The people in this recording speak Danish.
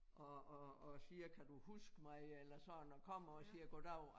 Og og og siger kan du huske mig eller sådan og kommer og siger goddag